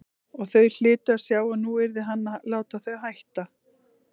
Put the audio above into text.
Og þau hlytu að sjá að nú yrði hann að láta þau hætta.